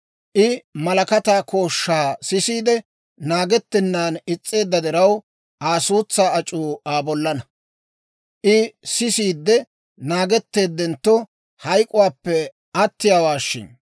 I malakataa kooshshaa sisiide, naagettennan is's'eedda diraw, Aa suutsaa ac'uu Aa bollaanna. I sisiide naagetteeddentto, hayk'k'uwaappe attiyaawaa shin!